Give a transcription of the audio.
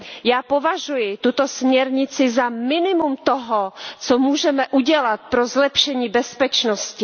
Já považuji tuto směrnici za minimum toho, co můžeme udělat pro zlepšení bezpečnosti.